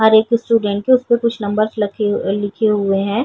और एक स्टूडेंट के उस पे कुछ नंबर्स लखे लिखे हुए हैं।